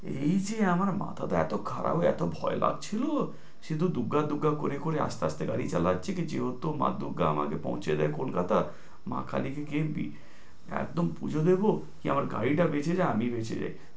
এই যে আমার মাথাটা এত খারাপ এত ভয় লাগছিলো, সে তো দূর্গা দূর্গা করে করে আস্তে আস্তে গাড়ি চালাচ্ছি যেহেতু মা দূর্গা আমাকে পৌঁছিয়ে দেয় কলকাতা, মা কালির দ্বিব্যি একদম পুঁজো দেব কি আমার গাড়িটা বেঁচে যায় আর আমি বেঁচে যাই।